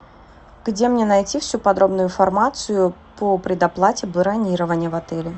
где мне найти всю подробную информацию по предоплате бронирования в отеле